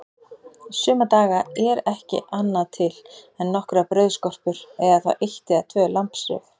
Suma daga er ekki annað til en nokkrar brauðskorpur eða þá eitt eða tvö lambsrif.